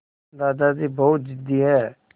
दादाजी बहुत ज़िद्दी हैं